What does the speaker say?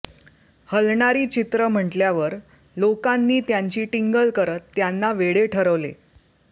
हलणारी चित्रं म्हटल्यावर लोकांनी त्यांची टिंगल करत त्यांना वेडे ठरवले